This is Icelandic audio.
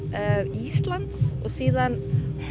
Íslands og síðan